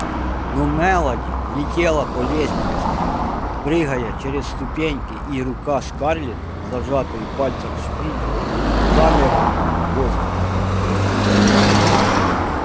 но мелани летела по лестнице прыгая через ступеньки и рука скарлетт с зажатой в пальцах шпилькой замерла в воздухе